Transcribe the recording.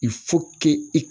i